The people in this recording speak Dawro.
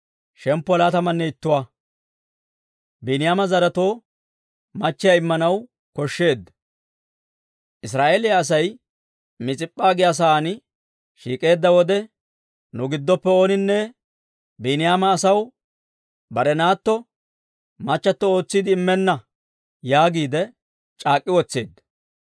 Israa'eeliyaa Asay Mis'ip'p'a giyaa saan shiik'k'eedda wode, «Nu giddoppe ooninne Biiniyaama asaw bare naatto machato ootsiide immenna» yaagiide c'aak'k'i wotseedda.